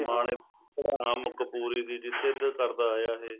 ਸਮਾਣੇ ਘੁੜਾਮ ਕਪੂਰੀ ਦੀ ਜਿੱਤ ਕਰਦਾ ਆਇਆ ਇਹ